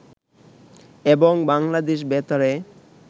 এবং বাংলাদেশ বেতারে